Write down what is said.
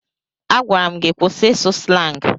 Agwara m gị kwụsị ịsụ slangị!